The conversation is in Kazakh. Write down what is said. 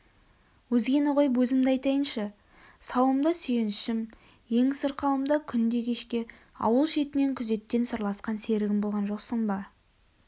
өзгені қойып езімді айтайыншы сауымда сүйеншім ең сырқауымда күнде кешке ауыл шетінен күзеттен сырласқан серігім болған жоқсың ба